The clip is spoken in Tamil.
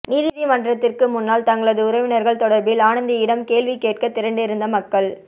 நீதி மண்றத்திற்கு முன்னால் தங்களது உறவினர்கள் தொடர்பில் ஆனந்தியிடம் கேள்வி கேட்க திரண்டிருந்த மக்கள்